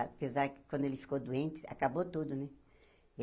Apesar que quando ele ficou doente, acabou tudo, né?